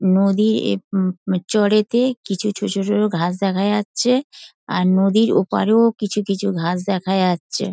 নদীরএএএ উম চরেতে কিছু ছোট ছোট ঘাস দেখা যাচ্ছে আর নদীর ওপারেও কিছু কিছু ঘাস দেখা যাচ্ছে |